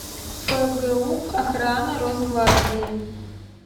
фгуп охрана росгвардии